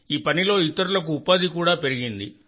ఈ పనిలో ఇతరులకు ఉపాధి కూడా చాలా పెరిగింది